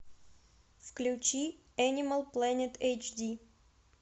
включи энимал плэнет эйчди